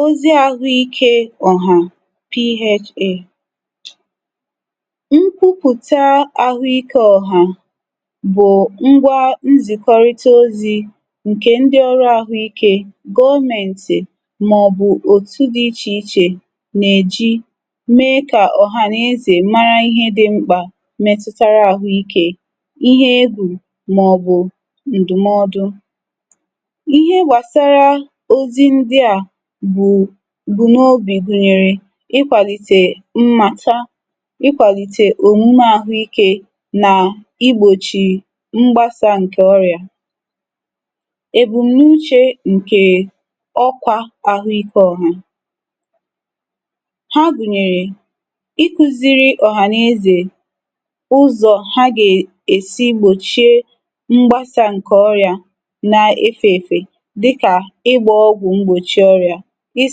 Ozi Ahụike Ọ̀hà PHA Nkwupụ̀ta ahụike ọ̀hà bụ̀ ngwa nzìkọrịta ozi ǹkè ndị ọrụ àhụ ike gọọmentì màọ̀bụ̀ òtù dị ichè ichè nà-èji mee kà ọ̀hà nà-ezè mara ihe dị̇ mkpà metụtara àhụ ike ihe egwù màọ̀bụ̀ ǹdụ̀mọdụ. Ihe gbasara ozi ndịa bụ bu n’obì gụ̀nyèrè ikwàlìtè mmàta, ikwàlìtè òmùme àhụ ikė nà igbòchì mgbasà ǹkè ọrị̀à. Ebumnuche Nkè Ọ̀kwa Ahụike Ọ̀hà Ha gụ̀nyèrè: iku̇ziri ọ̀hànezè ụzọ̀ ha gá-è esi gbòchie mgbasà ǹkè ọrị̀à na efėfė dịkà ị gba ọgwụ mgbochi ọrịa, ị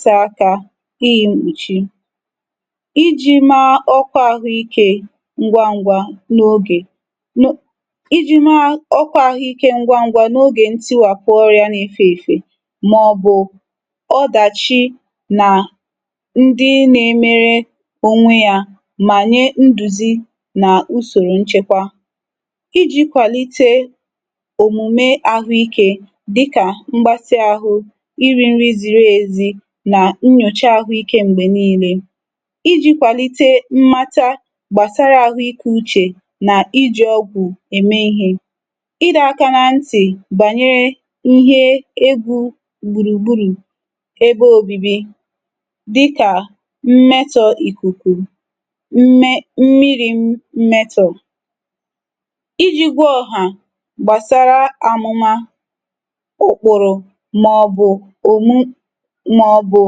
sa aka, i yi mkpùchi, i ji̇ maa ọkwa àhụikė ngwa ngwȧ n’ogè iji̇ maa ọkwa àhụikė ngwa ngwȧ n’ogè ntịwàpụ ọrị̇ȧ na-efe èfe, màọ̀bụ̀ ọdàchi nà ndị na-emere ònwe yȧ mà nyė ndùzi nà usòrò nchekwa, i ji̇ kwàlite òmùme àhụikė dịka mgbatị ahụ, i ri nri ziri ezi, nà nnyòcha àhụikė m̀gbè niile, iji̇ kwàlite mmata gbàsara àhụikė uchè nà iji̇ ọgwụ̀ ème ihe, ịdọ̇ aka na ntị̀ bànyere ihe egwu̇ gbùrùgburù ebe òbibi dịkà mmetọ̇ ìkùkù mme mmiri mmetọ, iji̇ gwa ọha gbàsara àmụma ụkpụrụ màọ̀bụ̀ omu maọbụ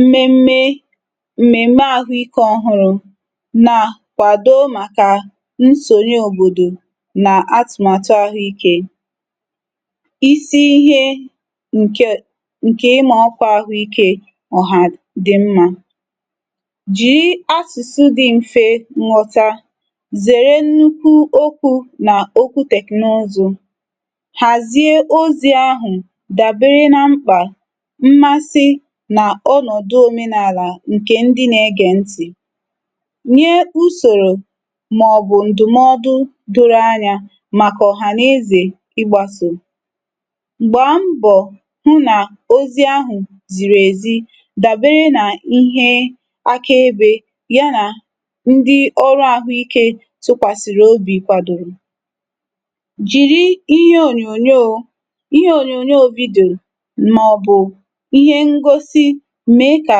mmémmé mmẹ̀mémẹ àhụ ike ọ̀hụrụ̀ na kwàdò màkà nsònyè òbòdò nà atụ̀màtụ àhụ ikė. Isi Ihe Nke Nke ị́ má Ọ́kwà Ahụ Ike Ọ́hà dị Mmȧ Ji asụsụ dị m̀fe nghọ̀tà, zèrè nnukwu okwu nà okwu teknụzụ̇, hàzie ozi̇ ahụ̀ dàbere nà mkpà mmasị̇ nà ọnọ̀dụ òmenàlà ǹkè ndi nà-ege ntị̀, nye ùsòrò màọ̀bụ̀ ǹdụ̀mọdụ doro anyȧ màkà ọ̀hà n’ezè ịgbàsò, gbàá mbọ̀ hụ nà ozi ahụ̀ zìrì èzi dàbere nà ihe akaebe yà nà ndi ọrụ àhụ ike tụkwàsị̀rị̀ obì kwadoro, jìri ihe ònyònyòo ihe ónyónyoo video maọbụ ihe ngosi mee kà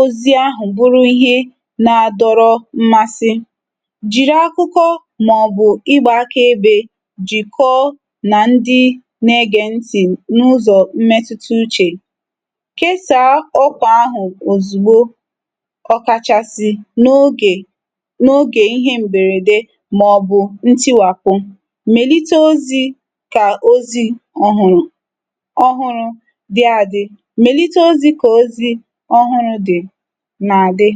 ozi ahụ̀ bụrụ ihe na-adọrọ mmasị, jiri akụkọ màọbụ̀ ịgbà aka ebe jikọọ na ndi na-ege ntị̀ n’ụzọ̀ mmetuta uchè, kesaa ọkwa ahụ̀ ozugbo ọkachasị̀ n’ogè n’ogè ihe m̀bèrède màọbụ̀ ntiwapụ, melite ozi kà ozi ọ̀hụ̀rụ̀ ọ́hụ́rụ́ dị adị melite ozi ka ozi ọhụrụ dị na-adị.